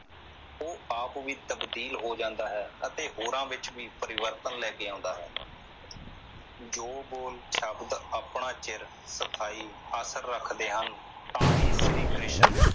ਉਹ ਵੀ ਆਪ ਵੀ ਤਬਦੀਲ ਹੋ ਜਾਂਦਾ ਹੈ ਅਤੇ ਹੋਰਾਂ ਵਿਚ ਵੀ ਪਰਿਵਰਤਨ ਲੈ ਕੇ ਆਉਂਦਾ ਹੈ ਜੋ ਬੋਲ ਸ਼ਬਦ ਆਪਣਾ ਚਿਰ ਸਥਾਈ ਆਖਿਰ ਰੱਖਦੇ ਹਨ ਤਾਂ ਹੀ ਸ਼੍ਰੀ ਕ੍ਰਿਸ਼ਨ